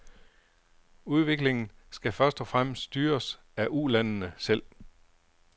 Udviklingen skal først og fremmest styres af ulandene selv.